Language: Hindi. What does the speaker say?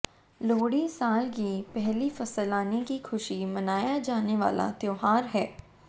लोहड़ी साल की पहली फसल आने की खुशी मनाया जाने वाला त्यौहार है